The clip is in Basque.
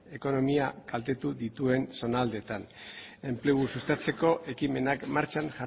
ekonomia kaltetu dituen zonaldeetan enplegua sustatzeko ekimenak martxan